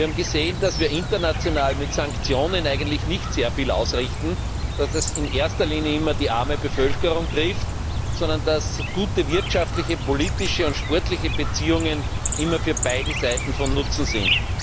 Wir haben gesehen, dass wir international mit Sanktionen eigentlich nicht sehr viel ausrichten, da das in erster Linie immer die arme Bevölkerung trifft, sondern dass gute wirtschaftliche, politische und sportliche Beziehungen immer für beide Seiten von Nutzen sind.